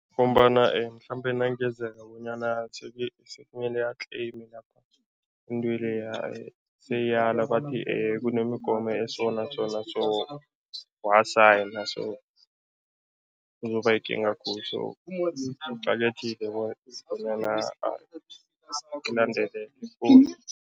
Ngombana mhlambe nangenzeka bonyana mele atleyime lapha, into leya seyiyala bathi kunemigomo eso naso naso, wasiyana so kuzoba yikinga khulu so kuqakathekile bona bonyana alandele